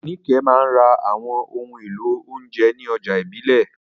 Nike máa ń ra àwọn ohun èlò oúnjẹ ní ọjà ìbílẹ̀.